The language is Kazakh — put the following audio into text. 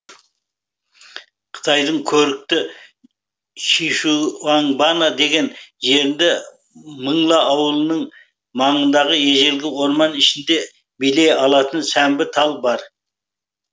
қытайдың көрікті шишуаңбанна деген жерінде мыңла ауылының маңындағы ежелгі орман ішінде билей алатын сәмбі тал бар